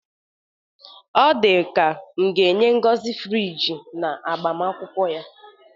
Ọ dịka m ga-enye Ngozi onyinye friji n'agbamakwụkwọ ya.